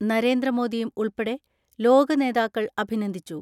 നരേന്ദ്രമോദിയും ഉൾപ്പെടെ ലോകനേതാക്കൾ അഭിനന്ദിച്ചു.